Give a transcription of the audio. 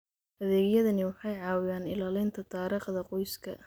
Adeegyadani waxay caawiyaan ilaalinta taariikhda qoyska.